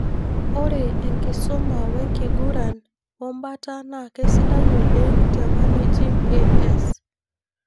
Ore enkisuma, wenkiguran wombata naa kisidai oleng te managing AS.